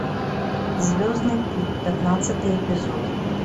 звездный путь пятнадцатый эпизод